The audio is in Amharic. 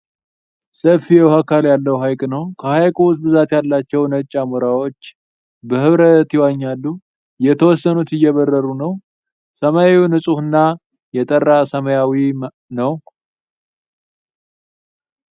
ሰፊ የዉኃ አካል ያለዉ ሀይቅ ነዉ። ከሀይቁ ዉስጥ ብዛት ያላቸዉ ነጭ አሞራዎች በህብረት ይዋኛሉ። የተወሰኑት እየበረሩ ነዉ። ሰማዩ ንፁህ እና የጠራ ሰማያዊ ነዉ።